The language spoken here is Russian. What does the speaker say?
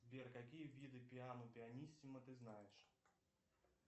сбер какие виды пиано пианиссимо ты знаешь